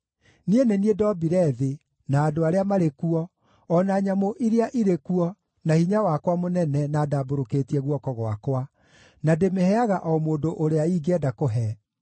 Niĩ nĩ niĩ ndombire thĩ na andũ arĩa marĩ kuo o na nyamũ iria irĩ kuo na hinya wakwa mũnene na ndambũrũkĩtie guoko gwakwa, na ndĩmĩheaga o mũndũ ũrĩa ingĩenda kũhe.